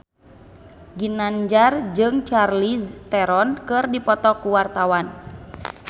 Ginanjar jeung Charlize Theron keur dipoto ku wartawan